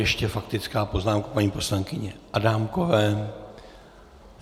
Ještě faktická poznámka paní poslankyně Adámkové.